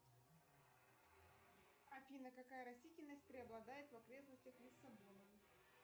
афина какая растительность преобладает в окрестностях лиссабона